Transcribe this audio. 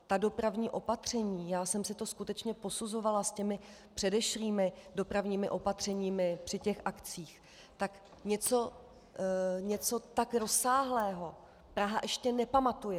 Ta dopravní opatření, já jsem si to skutečně posuzovala s těmi předešlými dopravními opatřeními při těch akcích, tak něco tak rozsáhlého Praha ještě nepamatuje.